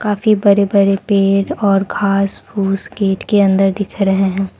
काफी बड़े बड़े पेड़ और घास फूस गेट के अंदर दिख रहे हैं।